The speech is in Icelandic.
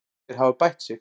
Þeir hafa bætt sig.